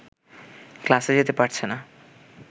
ক্লাসে যেতে পারছে না